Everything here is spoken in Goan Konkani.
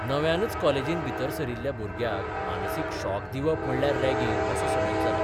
नव्यानच कॉलेजींत भितर सरिल्ल्या भुरग्याक मानसीक शॉक दिवप म्हणल्यार रॅगिंग असो समज जाला.